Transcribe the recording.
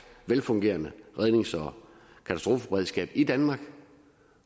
velfungerende rednings og katastrofeberedskab i danmark